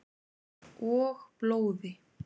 Og blóði.